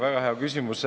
Väga hea küsimus.